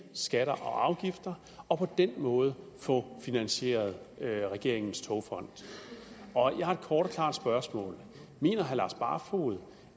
skatter og afgifter og på den måde få finansieret regeringens togfond jeg har et kort og klart spørgsmål mener herre lars barfoed